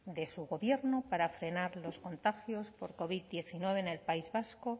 de su gobierno para frenar los contagios por covid diecinueve en el país vasco